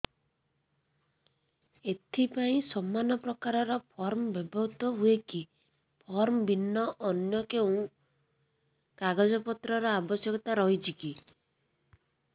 ଏଥିପାଇଁ ସମାନପ୍ରକାର ଫର୍ମ ବ୍ୟବହୃତ ହୂଏକି ଫର୍ମ ଭିନ୍ନ ଅନ୍ୟ କେଉଁ କାଗଜପତ୍ରର ଆବଶ୍ୟକତା ରହିଛିକି